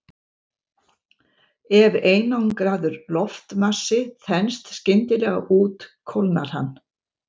Ef einangraður loftmassi þenst skyndilega út kólnar hann.